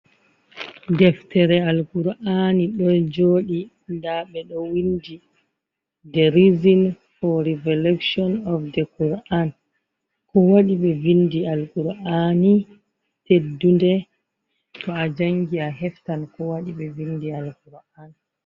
Ɗeftere Alqura aani ɗo joɗi. Nɗa ɓe ɗo winɗi, ɗe rizin fo revoluson of ɗe quran. Ko waɗi ɓe vinɗi Alqurani teɗɗunɗe to a jangi a heftan ko waɗi ɓe vinɗi alquran.